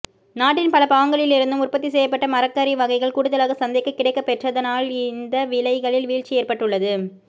நாட்டின் பல பாகங்களிலிருந்தும் உற்பத்தி செய்யப்பட்ட மரக்கறி வகைகள் கூடுதலாக சந்தைக்குக் கிடைக்கப் பெற்றதனால்இ இந்த விலைகளில் வீழ்ச்சி ஏற்பட்டுள்ளது